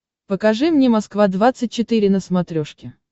покажи мне москва двадцать четыре на смотрешке